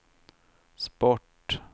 sport